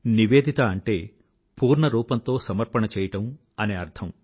నివేదిత అంటే పూర్ణ రూపంతో సమర్పణ చేయడం అని అర్థం